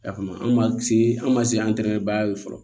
A kama anw b'a se an ma se antɛrɛ baara ye fɔlɔ